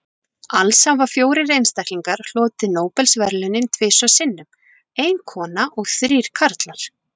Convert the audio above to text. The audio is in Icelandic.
Alls hafa fjórir einstaklingar hlotið Nóbelsverðlaunin tvisvar sinnum, ein kona og þrír karlar.